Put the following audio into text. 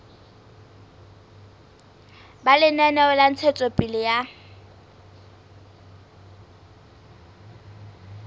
ba lenaneo la ntshetsopele ya